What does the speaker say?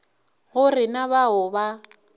go re na bao ba